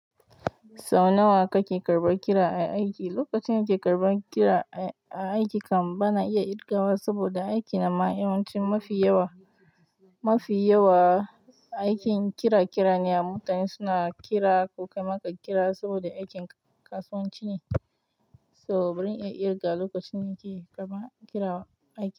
Sau nawa kake karɓar kira a aiki lokacin da nake karɓar kira a aiki kam bana iya ƙirgawa saboda aiki na ma yawanci mafi yawa mafi yawa aikin kira kira ne a mutane suna kira ko ka yi maka kira saboda aikin kasuwanci ne. Toh bazan iya ƙirgawa lokacin da nake karɓar kira a aiki.